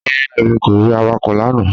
Rárá, èmi kò rí awakọ̀ lánà